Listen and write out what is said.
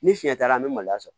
Ni fiɲɛ t'a la an bɛ maloya sɔrɔ